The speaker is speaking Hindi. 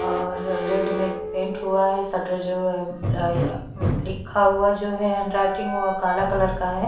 और रेड में पेंट हुआ है शटर जो है अ लिखा हुआ है जो हैंड रायटिंग ओ काला कलर का है।